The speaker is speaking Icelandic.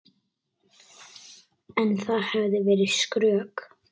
En það hefði verið skrök.